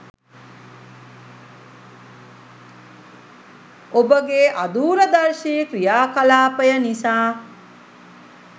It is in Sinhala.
ඔබගේ අදූරදර්ශී ක්‍රියාකලාපය නිසා